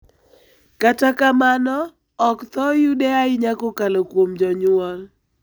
Kata kamano ,ok thore yude ahinya kokalo kuom jonyuol.